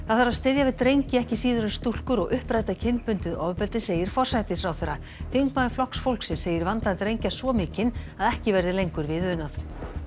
það þarf að styðja við drengi ekki síður en stúlkur og uppræta kynbundið ofbeldi segir forsætisráðherra þingmaður Flokks fólksins segir vanda drengja svo mikinn að ekki verði lengur við unað